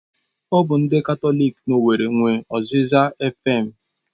Ọ bụ ndị Katọlik na owerri nwe Oziza efem